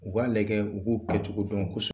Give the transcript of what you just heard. U k'a lajɛ u k'u kɛcogo dɔn .